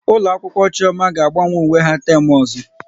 Ụlọ akwụkwọ Chioma ga agbanwe uwe ha n'teem ọzọ